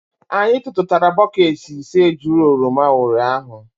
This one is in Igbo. Anyị tụtụtara bọket ise juru oroma ụnyahụ.